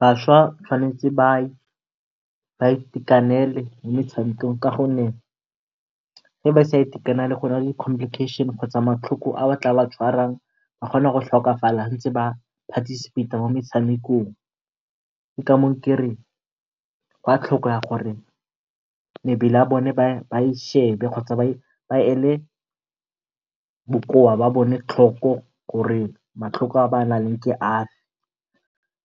Bašwa ba tshwanetse ba itekanele mo metshamekong ka gonne ga ba sa itekanela go na le di complication kgotsa matlhoko a tla ba tshwarang. Ba kgona go tlhokafala ba ntse ba participate-a mo motshamekong, ke ka moo kereng gwa tlhokega gore mebele ya bone ba e shebe kgotsa ba ele bokowa jwa bone tlhoko gore matlhoko a ba naleng one ke afe.